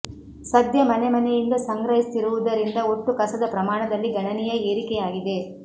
ಸದ್ಯ ಮನೆ ಮನೆಯಿಂದ ಸಂಗ್ರಹಿಸುತ್ತಿರುವುದರಿಂದ ಒಟ್ಟು ಕಸದ ಪ್ರಮಾಣದಲ್ಲಿ ಗಣನೀಯ ಏರಿಕೆಯಾಗಿದೆ